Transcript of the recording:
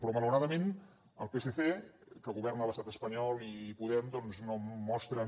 però malauradament el psc que governa a l’estat espanyol i podem doncs no mostren